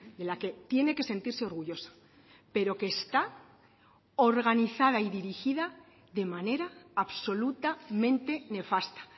de la que tiene que sentirse orgullosa pero que está organizada y dirigida de manera absolutamente nefasta